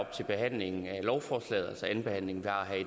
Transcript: til behandlingen af lovforslaget altså andenbehandlingen